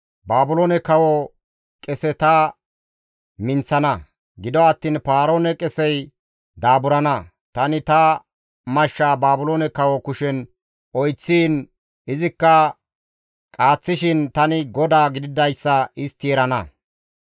Baabiloone kawo qese ta minththana; gido attiin Paaroone qesey daaburana; tani ta mashshaa Baabiloone kawo kushen oyththiin izikka qaaththishin tani GODAA gididayssa istti erana.